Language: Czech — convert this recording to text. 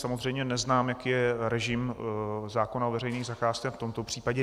Samozřejmě neznám, jaký je režim zákona o veřejných zakázkách v tomto případě.